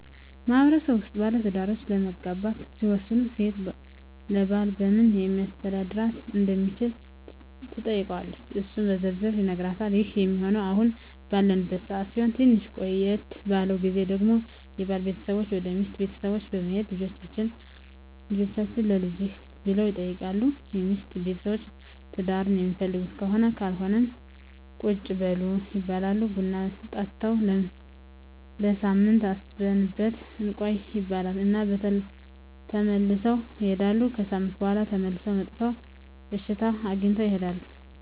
በማህበረሰቡ ውስጥ ባለትዳሮች ለመጋባት ሲወስኑ ሴት ለባል በምን ሊያስተዳድራት እንደሚችል ትጠይቀዋለች እሱም በዝርዝር ይነግራታል ይህ ሚሆነው አሁን ባለንበት ሰዓት ሲሆን ትንሽ ቆየት ባለው ግዜ ደግሞ የባል ቤተሰቦች ወደ ሚስት ቤተሰቦች በመሄድ ልጃቹህን ለልጃችን ብለው ይጠይቃሉ የሚስት ቤተሰቦች ትዳሩን ሚፈልጉት ከሆነም ካልሆነም ቁጭ በሉ ይባላሉ ቡና ጠጥተው ለሳምንት አስበንበት እንቆይ ይባሉ እና ተመልሰው ይሄዳሉ። ከሣምንት በኋላ ተመልሰው መጥተው እሽታ አግኝተው ይሄዳሉ።